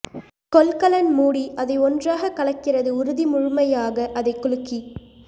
கொள்கலன் மூடி அதை ஒன்றாக கலக்கிறது உறுதி முழுமையாக அதை குலுக்கி